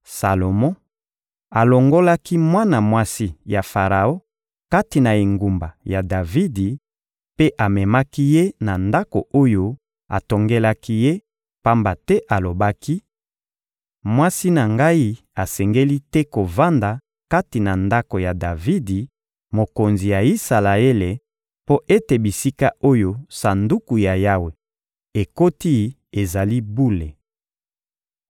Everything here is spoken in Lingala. Salomo alongolaki mwana mwasi ya Faraon kati na engumba ya Davidi mpe amemaki ye na ndako oyo atongelaki ye, pamba te alobaki: «Mwasi na ngai asengeli te kovanda kati na ndako ya Davidi, mokonzi ya Isalaele, mpo ete bisika oyo Sanduku ya Yawe ekoti ezali bule.»